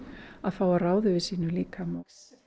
að fá að ráða fyrir sínum líkama